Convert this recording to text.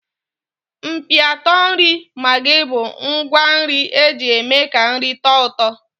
Mkpịatọ nri maggi bụ ngwá nri eji eme ka nri tọọ ụtọ.